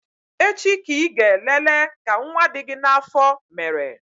Echi ka Ị gaa lele ka nwa dị gị n'afọ mere